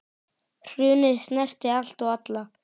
Hrunið snerti allt og alla.